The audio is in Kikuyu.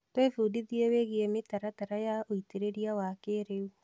Twĩbundithiĩ wĩgie mĩtaratara ya ũitĩrĩria wa kĩrĩu.